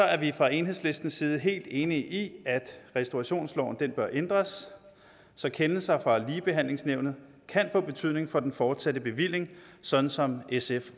er vi fra enhedslistens side helt enige i at restaurationsloven bør ændres så kendelser fra ligebehandlingsnævnet kan få betydning for den fortsatte bevilling sådan som sf